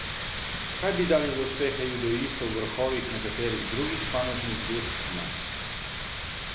Kaj bi dali za uspehe judoistov v vrhovih nekaterih drugih panožnih zvez pri nas!